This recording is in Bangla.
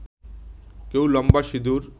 কেউ লম্বা সিঁদুর